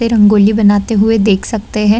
वे रंग-गोली बनाते हुए देख सकते हैं।